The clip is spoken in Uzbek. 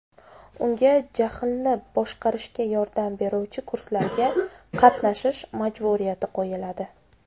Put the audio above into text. Unga jahlni boshqarishga yordam beruvchi kurslarga qatnashish majburiyati qo‘yiladi.